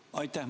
Aitäh!